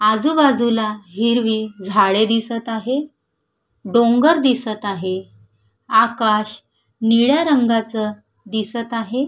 आजूबाजूला हिरवी झाडे दिसत आहे डोंगर दिसत आहे आकाश निळ्या रंगाच दिसत आहे.